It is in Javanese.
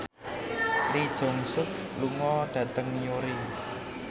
Lee Jeong Suk lunga dhateng Newry